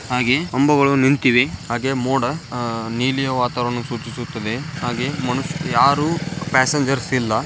ಹಾಗೆ ಕಂಬಗಳು ನಿಂತಿವೆ ಹಾಗೆ ಮೋಡ ಅಹ್ ನೀಲಿ ವಾತಾವಾರಣ ಸೂಚಿಸುತ್ತದೆ ಹಾಗೆ ಮನುಷ್ ಯಾರು ಪ್ಯಾಸ್ಸೇನ್ಜ್ರ್ಸ್ ಇಲ್ಲ.